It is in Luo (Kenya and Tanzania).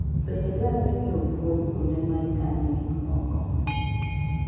Bende dwarore ni opwodh kuonde ma ikanoe gik moko.